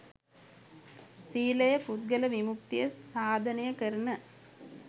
සීලය පුද්ගල විමුක්තිය සාධනය කරන